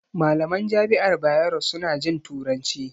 Malaman jami'ar Bayero su na jin turanci